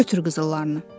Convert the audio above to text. Götür qızıllarını.